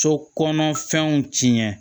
So kɔnɔ fɛnw tiɲɛ